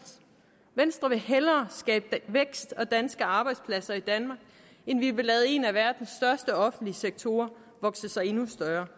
venstre vil hellere skabe vækst og danske arbejdspladser i danmark end vi vil lade en af verdens største offentlige sektorer vokse sig endnu større